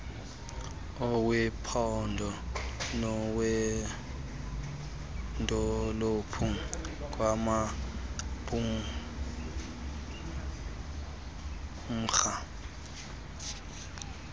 owephondo nowedolophu kwanamqumrhu